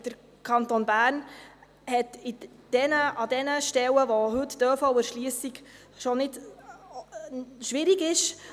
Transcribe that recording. Der Kanton Bern hat an jenen Stellen, an denen heute die ÖV-Erschliessung schwierig ist …